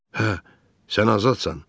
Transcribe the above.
Hə, sən azadsan!